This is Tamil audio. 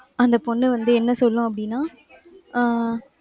அந்த பொண்ணு வந்து என்ன சொல்லும் அப்படின்னா? ஆஹ்